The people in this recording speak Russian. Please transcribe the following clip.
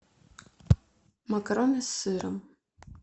макароны с сыром